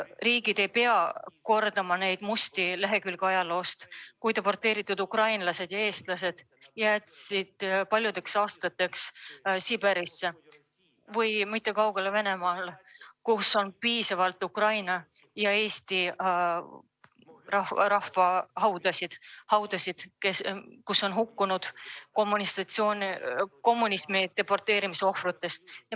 Riigid ei pea kordama neid ajaloo musti lehekülgi, mil ukrainlased ja eestlased deporteeriti paljudeks aastateks Siberisse, kaugele Venemaale, kus on piisavalt Ukraina ja Eesti inimeste haudasid, kus on kommunismi deporteerimise ohvrid.